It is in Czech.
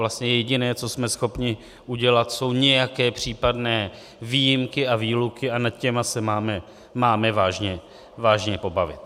Vlastně jediné, co jsme schopni udělat, jsou nějaké případné výjimky a výluky a nad těmi se máme vážně pobavit.